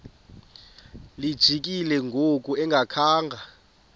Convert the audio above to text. lijikile ngoku engakhanga